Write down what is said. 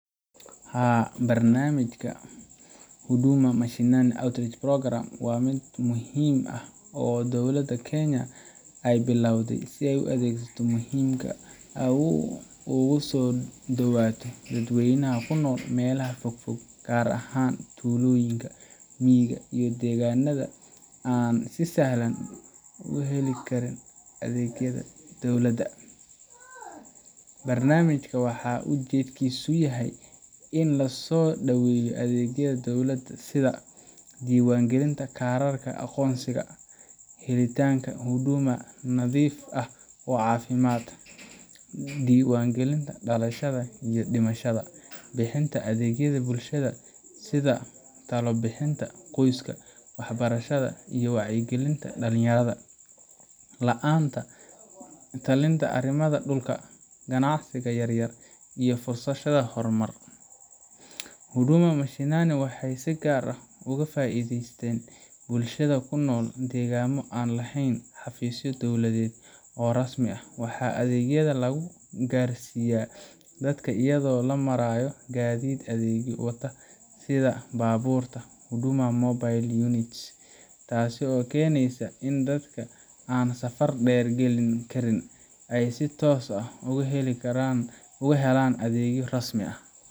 Haa, barnaamijka Huduma Mashinani Outreach Program waa mid muhiim ah oo dawladda Kenya ay bilowday si ay adeegyada muhiimka ah ugu soo dhowaato dadweynaha ku nool meelaha fogfog, gaar ahaan tuulooyinka, miyiga, iyo deegaannada aan si sahlan u heli karin adeegyada dawladda. Barnaamijkan waxaa ujeedkiisu yahay in la soo dhaweeyo adeegyada dowladda sida:Diiwaangelinta kaararka aqoonsiga ,Helitaanka huduma nadiif ah oo caafimaad ,Diiwaangelinta dhalashada iyo dhimashada ,Bixinta adeegyada bulshada sida talo bixinta qoyska, waxbarashada, iyo wacyigelinta dhalinyarada ,La talinta arrimaha dhulka, ganacsiga yaryar, iyo fursadaha horumarineed Huduma Mashinani waxay si gaar ah uga faa’iidaysteen bulshada ku nool deegaanno aan lahayn xafiisyo dowladeed oo rasmi ah. Waxaa adeegyada lagu gaarsiiyaa dadka iyadoo loo marayo gaadiid adeegyo wata sida baabuurta Huduma Mobile Units, taasoo keeneysa in dadka aan safar dheer geli karin ay si toos ah u helaan adeegyo rasmi ah.